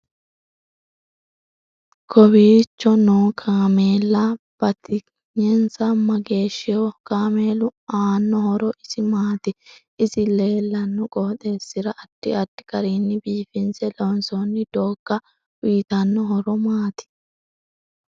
Kowiicho noo kaameella batigninsa mageeshiho kameelu aano horo isi maati isi leelanno qoxresira addi addi garinni biifinse loonsooni doogga uyiittanno horo maati